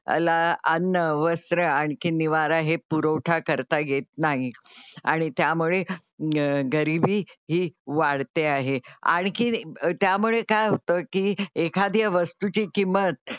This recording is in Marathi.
ला, अन्न, वस्त्र आणखी निवारा हे पुरवठा करता येत नाही आणि त्यामुळे गरीबी ही वाढते आहे. आणखी त्यामुळे काय होतं की एखाद्या वस्तू ची किंमत,